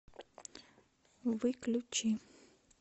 выключи